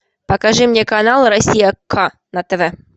покажи мне канал россия к на тв